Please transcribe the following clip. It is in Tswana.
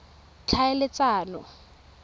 tlhaeletsano